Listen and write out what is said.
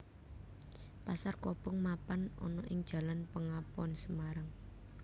Pasar Kobong mapan ana ing Jalan Pengapon Semarang